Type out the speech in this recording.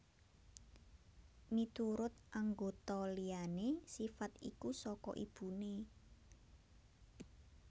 Miturut anggota liyané sifat iku saka ibuné